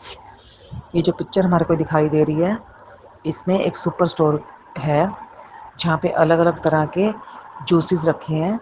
ये जो पिक्चर हमारे को दिखाई दे रही है इसमें एक सुपर स्टोर है जहां पे अलग अलग तरह के जूससे रखे हैं।